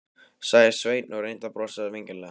sagði Sveinn og reyndi að brosa vingjarnlega.